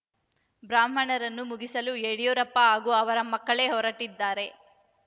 ಬ್ರಾಹ್ಮಣರನ್ನು ಮುಗಿಸಲು ಯಡಿಯೂರಪ್ಪ ಹಾಗೂ ಅವರ ಮಕ್ಕಳೇ ಹೊರಟಿದ್ದಾರೆ